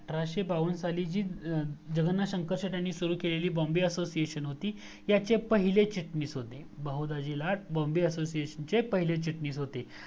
अठराशे बावण्ण साली साली जी जगन्नाथ शंकर शेटे यांनी सुरू केलेली बॉम्बे असोसिएशन होती ह्याचे पहिले चटणीस होते बहू दाजी ला बॉम्बे असोसिएशनचे पहिले चटणीस होते